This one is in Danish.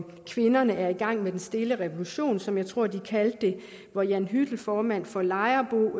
kvinderne er i gang med den stille revolution som jeg tror de kaldte det hvor jan hyttel formand for lejerbo